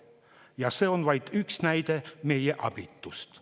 Ja see on vaid üks näide meie abitusest.